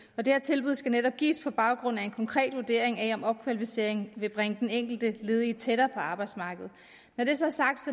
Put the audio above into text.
og det tilbud skal netop gives på baggrund af en konkret vurdering af om opkvalificeringen vil bringe den enkelte ledige tættere på arbejdsmarkedet når det så er sagt